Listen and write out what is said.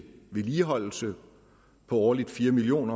vedligeholdelse på årligt fire million